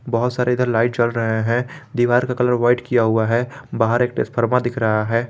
बहुत सारे इधर लाइट जल रहे हैं दीवार का कलर व्हाइट किया हुआ है बाहर एक ट्रांसफार्मर दिख रहा है।